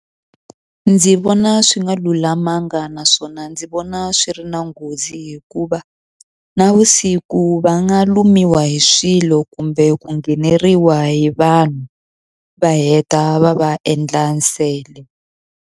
Ndzi vona swi nga lulamanga naswona ndzi vona swi ri na nghozi hikuva navusiku va nga lumiwa hi swilo kumbe ku ngheneriwa hi vanhu va heta va va endla nsele.